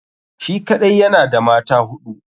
Shi kaɗai yana da mata hudu.